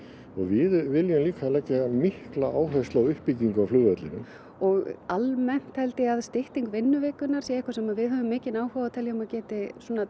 og við viljum leggja mikla áherslu á uppbyggingu á flugvellinum og almennt held ég að stytting vinnuvikunnar sé eitthvað sem við höfum mikinn áhuga á og geti